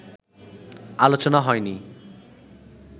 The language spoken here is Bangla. আলোচনা হয়নি